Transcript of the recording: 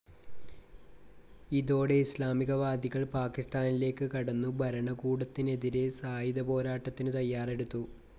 ഇതോടെ ഇസ്ലാമികവാദികൾ പാകിസ്ഥാനിലേക്ക് കടന്നു ഭരണകൂടത്തിനെതിരെ സായുധപോരാട്ടത്തിനു തയ്യാറെടുത്തു.